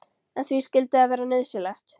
En því skyldi það vera nauðsynlegt?